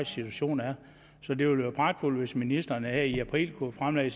situation er så det ville være pragtfuldt hvis ministeren her i april kunne fremlægge